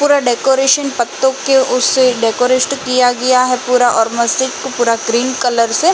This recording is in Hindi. पूरा डेकोरेशन पत्तों के उस डेकोरेस्ट किया गया हे पूरा और मस्जिद को पूरा ग्रीन कलर से --